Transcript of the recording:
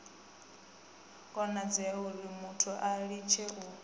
konadzea urimuthu a litshe u